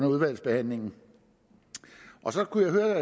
udvalgsbehandlingen så kunne jeg høre